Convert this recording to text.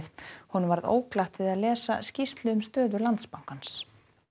honum varð óglatt við að lesa skýrslu um stöðu Landsbankans